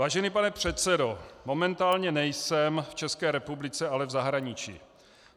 "Vážený pane předsedo, momentálně nejsem v České republice, ale v zahraničí.